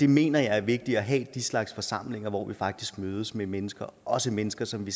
mener det er vigtigt at have den slags forsamlinger hvor vi faktisk mødes med mennesker også mennesker som vi